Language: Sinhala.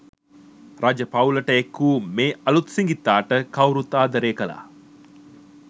රජ පවුලට එක් වූ මේ අලූත් සිඟිත්තාට කවුරුත් ආදරය කළා.